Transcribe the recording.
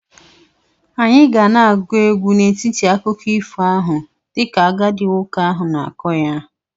Anyị ga na-agụ egwu n'etiti akụkọ ifo ahụ dịka agadi nwoke ahụ na-akọ ya.